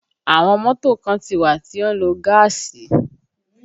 Àwọn mọ́tò kan ti wà tí ó ń lo gaasi